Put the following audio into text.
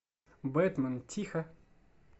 бэтмен тихо